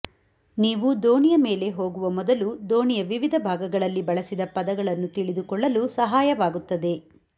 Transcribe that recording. ನೀವು ದೋಣಿಯ ಮೇಲೆ ಹೋಗುವ ಮೊದಲು ದೋಣಿಯ ವಿವಿಧ ಭಾಗಗಳಲ್ಲಿ ಬಳಸಿದ ಪದಗಳನ್ನು ತಿಳಿದುಕೊಳ್ಳಲು ಸಹಾಯವಾಗುತ್ತದೆ